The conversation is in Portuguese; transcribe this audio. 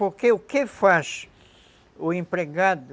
Porque o que faz o empregado